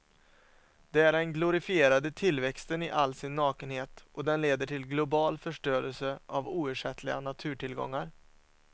Det är den glorifierade tillväxten i all sin nakenhet och den leder till global förstörelse av oersättliga naturtillgångar.